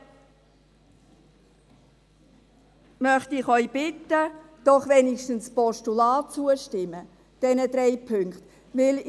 So möchte ich Sie bitten, doch wenigstens dem Postulat in diesen drei Punkten zuzustimmen.